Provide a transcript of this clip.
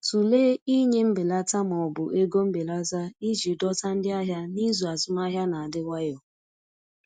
Tụlee ịnye mbelata ma ọ bụ ego mbelata iji dọta ndị ahịa n’izu azụmahịa na-adị nwayọ.